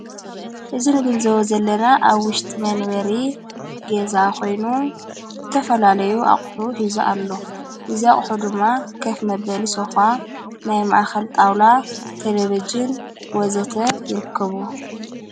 እዝ ንግንዘዎ ዘለና ኣብ ዊሽጢ መንበሪ ገዛ ኾይኑ ተፈላለዩ ኣቝሑ ሂዙ ኣሎ ዝዛቕሑ ድማ ከፍ መበሊ ሶፋ ናይ ማኣኸል ጣውላ ቴሌብዥን ወዘተ ይርክቡ።